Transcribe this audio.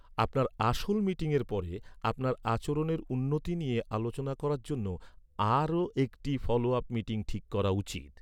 আপনার আসল মিটিংয়ের পরে, আপনার আচরণের উন্নতি নিয়ে আলোচনা করার জন্য আর একটি ফলো আপ মিটিং ঠিক করা উচিত।